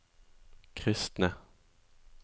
kristne